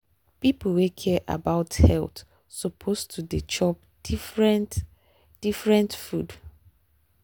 people wey care about health suppose to dey chop different different food.